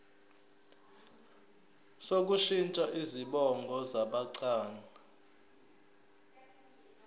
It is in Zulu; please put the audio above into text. sokushintsha izibongo zabancane